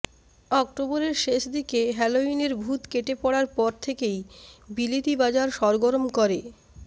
অক্টোবরের শেষ দিকে হ্যালোইনের ভূত কেটে পড়ার পর থেকেই বিলিতি বাজার সরগরম করে